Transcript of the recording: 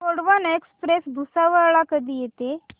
Gondwana express Bhusawal ला कधी येते